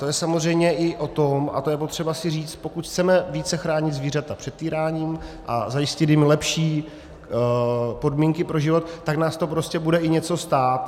To je samozřejmě i o tom, a to je potřeba si říct, pokud chceme více chránit zvířata před týráním a zajistit jim lepší podmínky pro život, tak nás to prostě bude i něco stát.